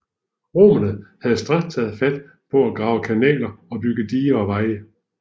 Romerne havde straks taget fat på at grave kanaler og bygge diger og veje